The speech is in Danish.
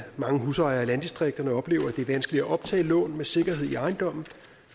mange husejere i landdistrikterne oplever at det er vanskeligt at optage lån med sikkerhed i ejendommen